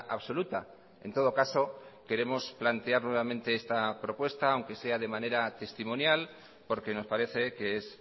absoluta en todo caso queremos plantear nuevamente esta propuesta aunque sea de manera testimonial porque nos parece que es